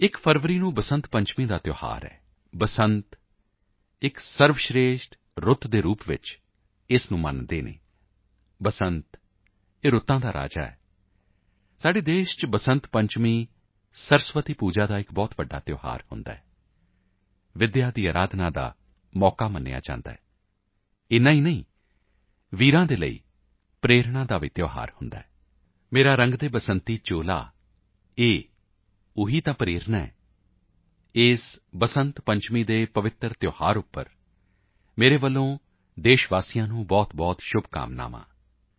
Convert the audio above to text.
1 ਫਰਵਰੀ ਨੂੰ ਬਸੰਤ ਪੰਚਮੀ ਦਾ ਤਿਉਹਾਰ ਹੈ ਬਸੰਤਇਹ ਸਰਵਸ਼੍ਰੇਸ਼ਠ ਰੁੱਤ ਦੇ ਰੂਪ ਵਿੱਚ ਉਸ ਦੀ ਸਵੀਕਾਰਤਾ ਮਿਲੀ ਹੋਈ ਹੈ ਬਸੰਤਇਹ ਰੁੱਤਾਂ ਦਾ ਰਾਜਾ ਹੈ ਸਾਡੇ ਦੇਸ਼ ਵਿੱਚ ਬਸੰਤ ਪੰਚਮੀ ਸਰਸਵਤੀ ਪੂਜਾ ਦਾ ਇੱਕ ਬਹੁਤ ਵੱਡਾ ਤਿਉਹਾਰ ਹੁੰਦਾ ਹੈ ਵਿਦਿਆ ਦੀ ਅਰਾਧਨਾ ਦਾ ਅਵਸਰ ਮੰਨਿਆ ਜਾਂਦਾ ਹੈ ਇੰਨਾ ਹੀ ਨਹੀਂ ਵੀਰਾਂ ਲਈ ਪ੍ਰੇਰਨਾ ਦਾ ਵੀ ਪਰਵ ਹੁੰਦਾ ਹੈ ਮੇਰਾ ਰੰਗ ਦੇ ਬਸੰਤੀ ਚੋਲਾਇਹ ਉਹੀ ਤਾਂ ਪ੍ਰੇਰਨਾ ਹੈ ਇਸ ਬਸੰਤ ਪੰਚਮੀ ਦੇ ਪਾਵਨ ਤਿਉਹਾਰ ਤੇ ਮੇਰੀਆਂ ਦੇਸ਼ ਵਾਸੀਆਂ ਨੂੰ ਬਹੁਤਬਹੁਤ ਸ਼ੁਭਕਾਮਨਾਵਾਂ ਹਨ